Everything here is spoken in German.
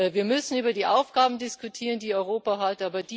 Wir müssen über die Aufgaben diskutieren, die Europa hat.